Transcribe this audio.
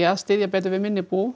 að styðja betur við minni bú